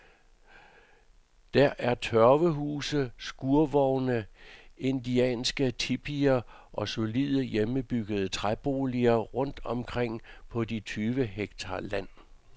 Der er tørvehuse, skurvogne, indianske tipier og solide, hjemmebyggede træboliger rundt omkring på de tyve hektar land.